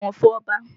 Ẹ bọ̀wọ̀ fún Ọba!